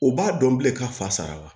U b'a dɔn bilen ka fa sara la